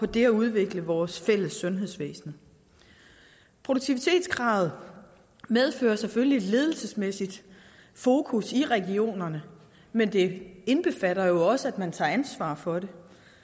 det at udvikle vores fælles sundhedsvæsen produktivitetskravet medfører selvfølgelig et ledelsesmæssigt fokus i regionerne men det indbefatter jo også at man tager ansvar for det